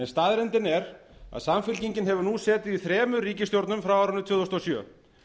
staðreyndin er að samfylkingin hefur nú setið í þremur ríkisstjórnum frá árinu tvö þúsund og sjö